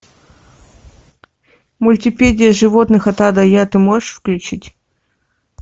мультипедия животных от а до я ты можешь включить